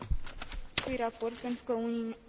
Am votat în favoarea acestui raport pentru că